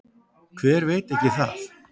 Hver veit ekki það?